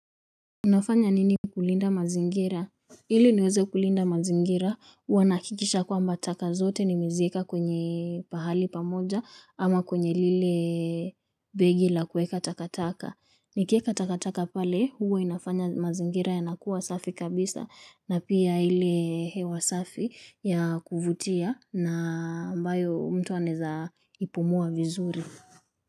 Unafanya nini kulinda mazingira ili niweze kulinda mazingira huwa nahakikisha kwamba taka zote nimeziweka kwenye pahali pamoja ama kwenye lile begi la kuweka takataka nikieka takataka pale huwa inafanya mazingira yanakuwa safi kabisa na pia ile hewa safi ya kuvutia na ambayo mtu anaeza ipumua vizuri.